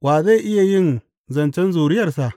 Wa zai iya yin zancen zuriyarsa?